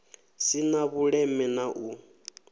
si na vhuleme na u